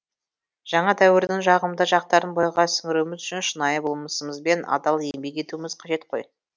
жаңа дәуірдің жағымды жақтарын бойға сіңіруіміз үшін шынайы болмысымызбен адал еңбек етуіміз қажет қой